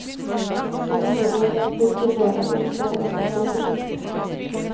De måtte gå helt bort til døra for å se hva som sto på skiltet.